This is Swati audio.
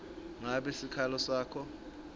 ngabe sikhalo sakho